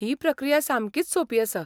ही प्रक्रिया सामकीच सोपी आसा.